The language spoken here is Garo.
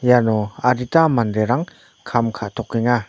iano adita manderang kam ka·tokenga.